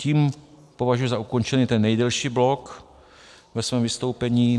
Tím považuji za ukončený ten nejdelší blok ve svém vystoupení.